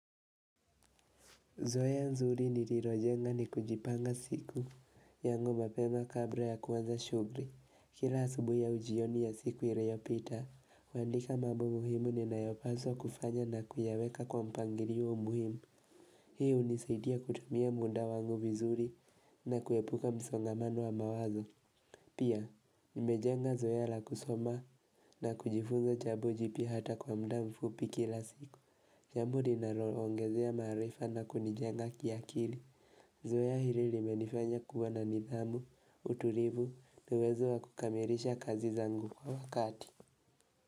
Zoeaa nzuri nililojenga ni kujipanga siku, yangu mapema kabla ya kuanza shughuli. Kila asubui au jioni ya siku iliyopita, naandika mambo muhimu ni nayopaswa kufanya na kuyaweka kwa mpangilio muhimu. Hii unisaidia kutumia muda wangu vizuri na kuepuka msongamano wa mawazo. Pia, nimejenga zoea la kusoma na kujifunza jambo jipya hata kwa muda mfupi kila siku. Jambo linaloongezea maarifa na kunijenga kiakili Zoea hili limenifanya kuwa na nidhamu, utulivu, na uwezo wa kukamilisha kazi zangu kwa wakati.